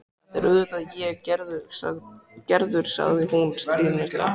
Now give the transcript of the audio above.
Þetta er auðvitað ég, Gerður, sagði hún stríðnislega.